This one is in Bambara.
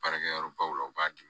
Baarakɛyɔrɔ baw la u b'a di